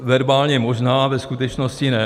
Verbálně možná, ve skutečnosti ne.